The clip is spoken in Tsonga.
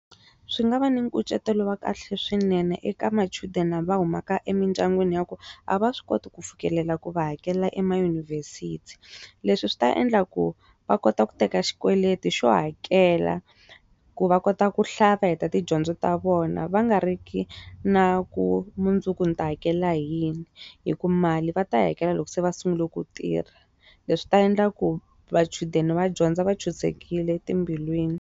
Swi nga va na nkucetelo wa kahle swinene eka machudeni lava humaka emindyangwini ya ku a va swi koti ku fikelela ku va hakela ema yunivhesiti leswi swi ta endla ku va kota ku teka xikweleti xo hakela ku va kota ku hlaya va heta tidyondzo ta vona va nga ri ki na ku mundzuku ni ta hakela hi yini hi ku mali va ta hakela loko se va sungula ku tirha leswi ta endla ku machudeni va dyondza va ntshunxekile etimbilwini.